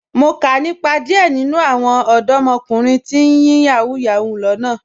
Mo kà nípa díẹ̀ nínu àwọn ọdọ̀mọ̀kùnrin tí ń yin Yahoo Yahoo lánà